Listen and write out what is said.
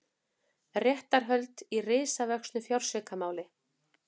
Réttarhöld í risavöxnu fjársvikamáli